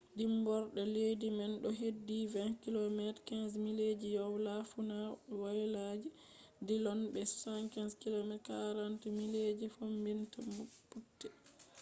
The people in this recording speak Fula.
dimborde leddi man do hedi 20 km 15 mileji woyla- fuuna woyla je dilllon bo 65 km 40 mile ji fombina butte